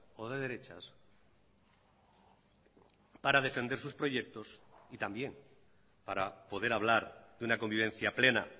o de derechas para defender sus proyectos y también para poder hablar de una convivencia plena